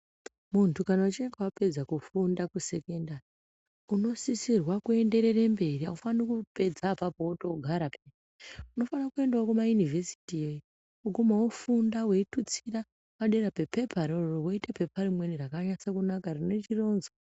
Muntu kana uchinge wapedza kufunda kusekondari unosisirwa kuenderera mberi eya aufani kupedza iyoyo voendawo kumaunivhesiti vogika vofunda padera pepepa iroro voita pepa rimweni risina chironzo.